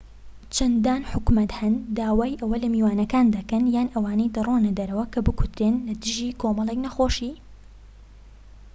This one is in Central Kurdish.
چەندان حکومەت هەن داوای ئەوە لە میوانەکان دەکەن یان ئەوانەی دەڕۆنە دەرەوە کە بکوترێن لە دژی کۆمەڵێك نەخۆشی